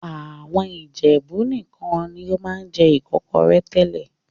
Àwọn Ìjẹ̀bú nìkan ni wọ́n máa ń jẹ Ìkọ́kọrẹ́ tẹ́lẹ̀